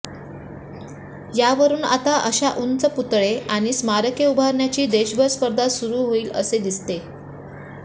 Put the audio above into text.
यावरून आता अशा उंच पुतळे आणि स्मारके उभारण्याची देशभर स्पर्धा सुरु होईल असे दिसते